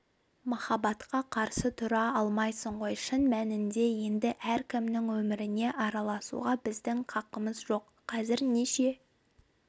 махаббатқа қарсы тұра алмайсың ғой шын мәнінде енді әркімнің өміріне араласуға біздің қақымыз жоқ қазір неше